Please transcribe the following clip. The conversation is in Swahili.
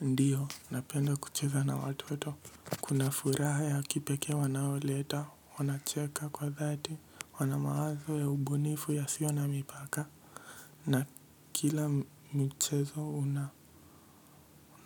Ndiyo, napenda kucheza na watoto. Kuna furaha ya kipekee wanaoleta, wanacheka kwa dhati, wana mawazo ya ubunifu yasio na mipaka. Na kila michezo